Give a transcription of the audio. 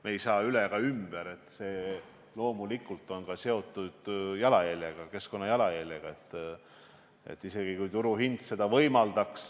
Me ei saa üle ega ümber sellest, et loomulikult on see seotud ka keskkondliku jalajäljega.